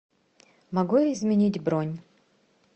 могу я изменить бронь